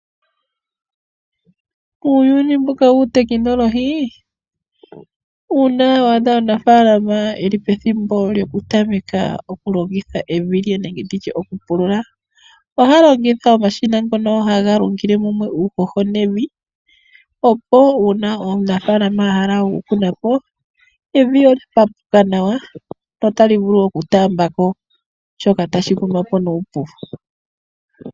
Uuyuni mbuka wuutekinolohi uuna wa adha omunafaalama eli pethimbo lyoku tameka oku longitha evi lye nenge nditye oku pulula, oha longitha omashina ngono haga lungile mumwe uuhoho nevi, opo uuna omunafaalama a hala oku kuna po, evi olya papuka nawa, lyo otali vulu oku taamba ko shoka tashi kunwa po nuupu.